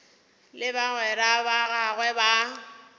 le bagwera ba gagwe ba